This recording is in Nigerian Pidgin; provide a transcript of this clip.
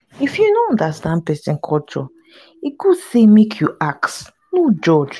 if you no understand pesin culture e good make you ask no judge.